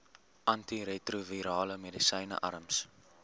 antiretrovirale medisyne arms